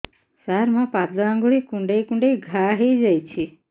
ସାର ମୋ ପାଦ ଆଙ୍ଗୁଳି କୁଣ୍ଡେଇ କୁଣ୍ଡେଇ ଘା ହେଇଯାଇଛି